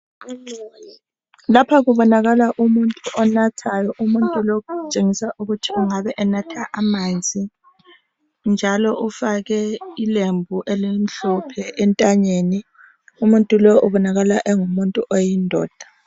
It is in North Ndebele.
Lapha kubonakala umuntu onathayo, umuntu lo engabe enatha amanzi, njalo ufake ilembu elimhlophe entanyeni umuntu lo kubonakala eyindoda.